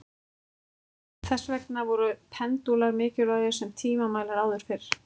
þess vegna voru pendúlar mikilvægir sem tímamælar áður fyrr